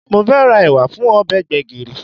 Mo fẹ́ ra ẹ̀wà fún ọbẹ̀ gbẹ̀gìrì